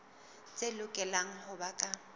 tse lokelang ho ba ka